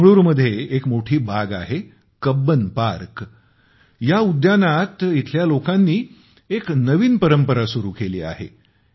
बेंगळुरू मध्ये एक मोठी बाग आहे कब्बन पार्क या उद्यानात येथील लोकांनी एक नवीन परंपरा सुरू केली आहे